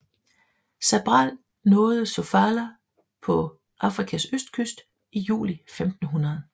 Cabral nåede Sofala på Afrikas østkyst i juli 1500